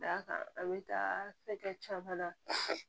Da kan a bɛ taa fɛnkɛ caman na